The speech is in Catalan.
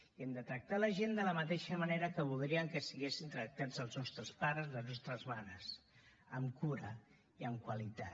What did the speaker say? i hem de tractar la gent de la mateixa manera que voldríem que fossin tractats els nostres pares i les nostres mares amb cura i amb qualitat